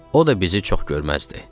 O da bizi çox görməzdi.